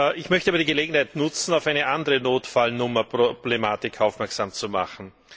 Ich möchte aber die Gelegenheit nutzen, auf eine andere Notfallnummer Problematik aufmerksam zu machen.